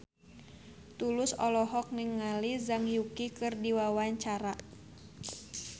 Tulus olohok ningali Zhang Yuqi keur diwawancara